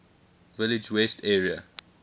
village west area